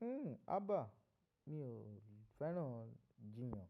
Hmm aba, mi ò fẹ́ràn ijiyàn.